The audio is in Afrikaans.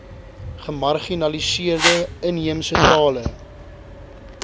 gemarginaliseerde inheemse tale